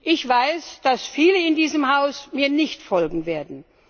Ich weiß, dass viele in diesem Haus mir nicht folgen werden.